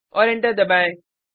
और एंटर दबाएँ